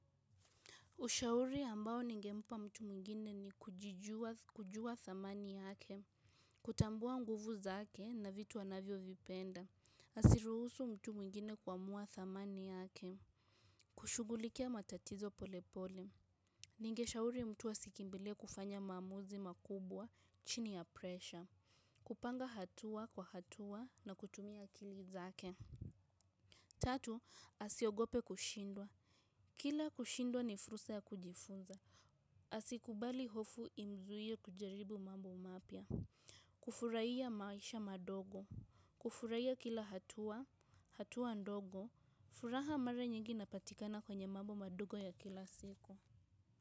Ushauri ambao ningempa mtu mwingine ni kujua dhamani yake. Kutambua nguvu zake na vitu anavyo vipenda. Asiruhusu mtu mwingine kuamua dhamani yake. Kushugulikia matatizo polepole. Ningeshauri mtu asikimbilie kufanya maamuzi makubwa chini ya presha. Kupanga hatua kwa hatua na kutumia akili zake. Tatu, asiogope kushindwa. Kila kushindwa ni fursa ya kujifunza. Asikubali hofu imzuie kujaribu mambo mapya. Kufuraiya maisha madogo. Kufuraiya kila hatua, hatua ndogo furaha mara nyingi inapatikana kwenye mambo madogo ya kila siku.